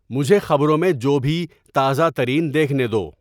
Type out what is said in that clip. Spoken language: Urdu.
مجھے خبروں میں جو بھی تازہ ترین دیکھنے دو